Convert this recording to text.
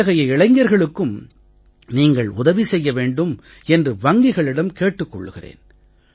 இத்தகைய இளைஞர்களுக்கும் நீங்கள் உதவி செய்ய வேண்டும் என்று வங்கிகளிடம் கேட்டுக் கொள்கிறேன்